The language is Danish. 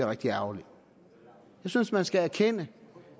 rigtig ærgerligt jeg synes man skal erkende